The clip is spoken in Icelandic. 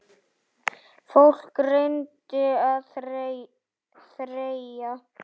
Fólk reyndi að þreyja.